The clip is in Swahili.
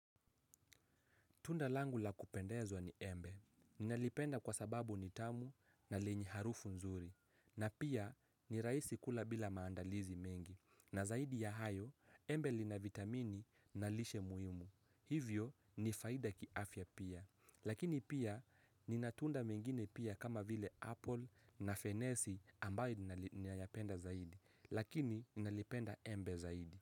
Tunda langu la kupendeza ni embe. Ni nalipenda kwa sababu ni tamu na lenye harufu nzuri. Na pia ni rahisi kula bila maandalizi mengi. Na zaidi ya hayo, embe lina vitamini na lishe muhimu. Hivyo ni faida kiafya pia. Lakini pia nina tunda nyingine pia kama vile apple na fenesi ambaye ni nayapenda zaidi. Lakini ni nalipenda embe zaidi.